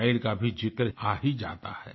wild का भी ज़िक्र आ ही जाता है